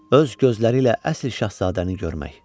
Öz gözləri ilə əsl şahzadəni görmək.